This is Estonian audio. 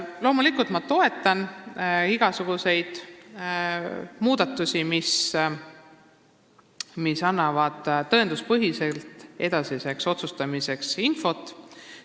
Loomulikult toetan ma igasuguseid muudatusi, mis annavad edasiseks otsustamiseks tõenduspõhist infot.